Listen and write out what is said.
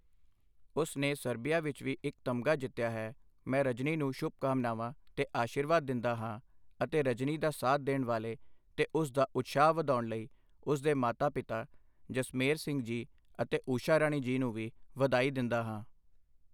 ਉਸ ਨੇ ਸਰਬੀਆ ਵਿੱਚ ਵੀ ਇੱਕ ਤਮਗਾ ਜਿੱਤਿਆ ਹੈ, ਮੈਂ ਰਜਨੀ ਨੂੰ ਸ਼ੁਭਕਾਮਨਾਵਾਂ ਤੇ ਅਸ਼ੀਰਵਾਦ ਦਿੰਦਾ ਹਾਂ ਅਤੇ ਰਜਨੀ ਦਾ ਸਾਥ ਦੇਣ ਵਾਲੇ ਤੇ ਉਸ ਦਾ ਉਤਸ਼ਾਹ ਵਧਾਉਣ ਲਈ ਉਸ ਦੇ ਮਾਤਾ ਪਿਤਾ ਜਸਮੇਰ ਸਿੰਘ ਜੀ ਅਤੇ ਊਸ਼ਾ ਰਾਣੀ ਜੀ ਨੂੰ ਵੀ ਵਧਾਈ ਦਿੰਦਾ ਹਾਂ।